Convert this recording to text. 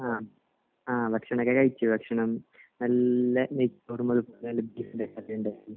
ആഹ് അഹ് ഭക്ഷണം ഒക്കെ കഴിച്ചു ഭക്ഷണം നല്ല